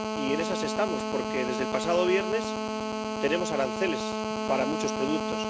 Y en esas estamos, porque desde el pasado viernes tenemos aranceles para muchos productos.